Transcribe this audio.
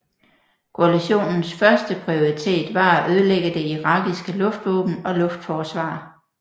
Koalitionens første prioritet var at ødelægge det irakiske luftvåben og luftforsvar